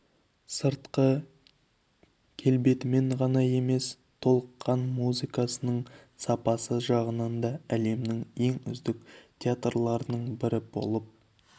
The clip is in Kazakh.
сыртқы келбетімен ғана емес толыққан музыкасының сапасы жағынан да әлемнің ең үздік театрларының бірі болып